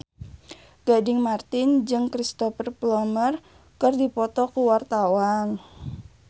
Gading Marten jeung Cristhoper Plumer keur dipoto ku wartawan